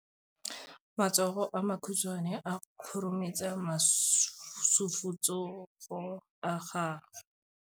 Matsogo a makhutshwane a khurumetsa masufutsogo a gago.